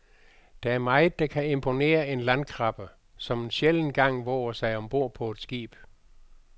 Der er meget, der kan imponere en landkrabbe, som en sjælden gang vover sig om bord på et skib.